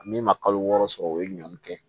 Min ma kalo wɔɔrɔ sɔrɔ o ye ɲɔn kɛ